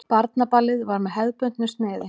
Barnaballið var með hefðbundnu sniði.